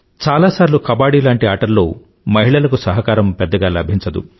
చాలాసార్లు కబడ్డి లాంటి ఆటల్లో మహిళలకు సహకారం పెద్దగా లభించదు